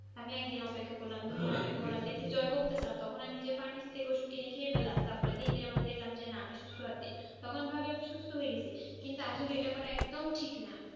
আমি একদিন অপেক্ষা করলাম দেখছি জ্বর কমতেছেনা তখন আমি যে আমি pharmacy থেকে ওষুধ কিনে খেয়ে ফেললাম তার কয়েকদিনের মধ্যে দেখলাম যে না আমি সুস্থ আছি তখন ভাবলাম যে সুস্থ হয়ে গেছি কিন্তু আসলে এটা করা একদমই ঠিক না